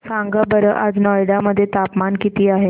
सांगा बरं आज नोएडा मध्ये तापमान किती आहे